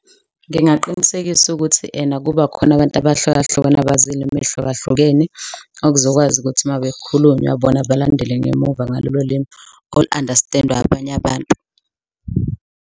Ngingaqinisekisa ukuthi ena kuba khona abantu abahlukahlukene abazi ilimi ey'hlukahlukene okuzokwazi ukuthi uma kukhulunywa bona balandele ngemuva ngalolo limi olu-understand-wa abanye abantu.